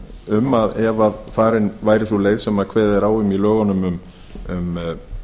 um að ef farin væri sú leið sem kveðið er á um